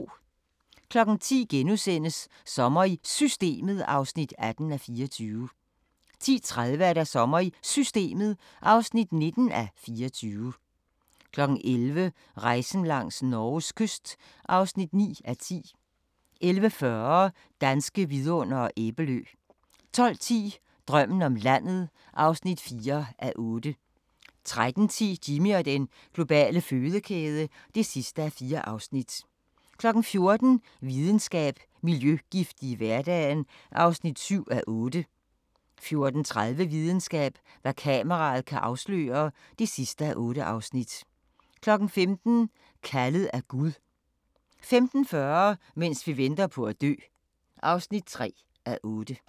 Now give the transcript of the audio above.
10:00: Sommer i Systemet (18:24)* 10:30: Sommer i Systemet (19:24) 11:00: Rejsen langs Norges kyst (9:10) 11:40: Danske Vidundere: Æbelø 12:10: Drømmen om landet (4:8) 13:10: Jimmy og den globale fødekæde (4:4) 14:00: Videnskab: Miljøgifte i hverdagen (7:8) 14:30: Videnskab: Hvad kameraet kan afsløre (8:8) 15:00: Kaldet af Gud 15:40: Mens vi venter på at dø (3:8)